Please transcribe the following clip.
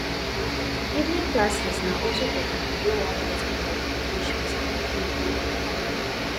evening classes na also for pipo wey won get more qualifications in the field wey dem like